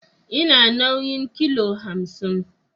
Ina nauyin kilo hamsin